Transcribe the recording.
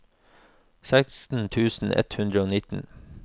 seksten tusen ett hundre og nitten